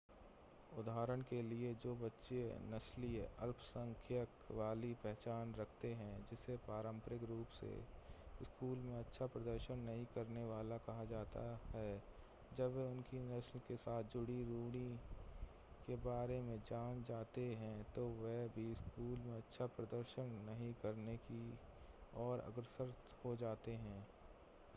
उदाहरण के लिए जो बच्चे नस्लीय अल्पसंख्यक वाली पहचान रखते हैं जिसे पारंपरिक रूप से स्कूल में अच्छा प्रदर्शन नहीं करने वाला कहा जाता है जब वे उनकी नस्ल के साथ जुड़ी रूढ़ि के बारे में जान जाते हैं तो वे भी स्कूल में अच्छा प्रदर्शन नहीं करने की ओर अग्रसर हो जाते हैं